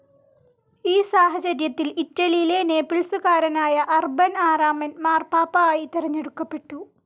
ഈ സാഹചര്യത്തിൽ ഇറ്റലിയിലെ നേപ്പിൾസുകാരനായ അർബൻ ആറാമൻ മാർപ്പാപ്പാ ആയി തെരഞ്ഞെടുക്കപ്പെട്ടു.